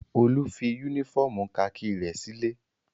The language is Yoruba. Olú fi únífọ́ọ́mù kakí rẹ̀ sílé?